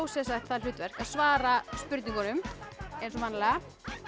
það hlutverk að svara spurningunum eins og vanalega